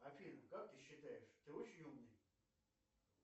афина как ты считаешь ты очень умный